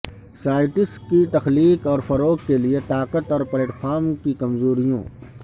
sites کی تخلیق اور فروغ کے لئے طاقت اور پلیٹ فارم کی کمزوریوں